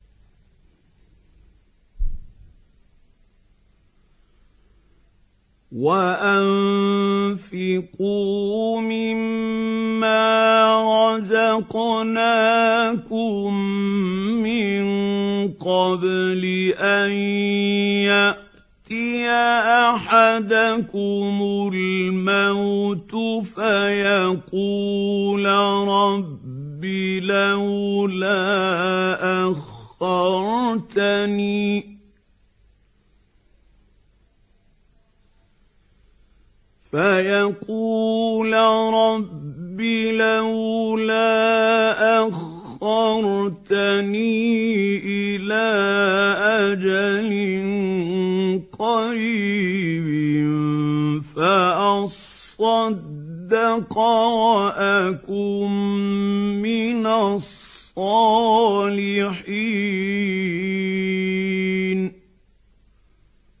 وَأَنفِقُوا مِن مَّا رَزَقْنَاكُم مِّن قَبْلِ أَن يَأْتِيَ أَحَدَكُمُ الْمَوْتُ فَيَقُولَ رَبِّ لَوْلَا أَخَّرْتَنِي إِلَىٰ أَجَلٍ قَرِيبٍ فَأَصَّدَّقَ وَأَكُن مِّنَ الصَّالِحِينَ